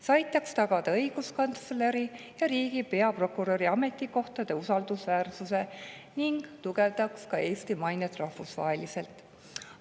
See aitaks tagada õiguskantsleri ja riigi peaprokuröri ametikohtade usaldusväärsuse ning tugevdaks Eesti mainet ka rahvusvaheliselt.